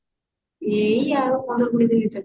ଏଇ ଆଉ ପନ୍ଦର କୋଡିଏ ଦିନ